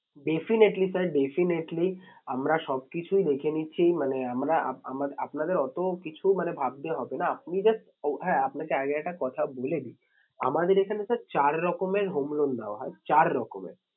Definitely sir definitely আমরা সব কিছুই দেখে নিচ্ছি মানে আমরা আপনাদের অত কিছু মানে ভাবতে হবে না। আপনি just ও হ্যাঁ আপনাকে আগে একটা কথা বলে দিই আমাদের এখানে sir চার রকমের home loan দেওয়া হয়। চার রকমের